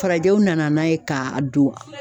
Farajɛw nana n'a ye k'a don